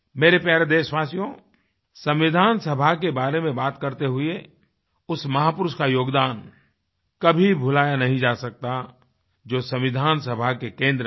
मेरे प्यारे देशवासियो संविधान सभा के बारे में बात करते हुए उस महापुरुष का योगदान कभी भुलाया नहीं जा सकता जो संविधान सभा के केंद्र में रहे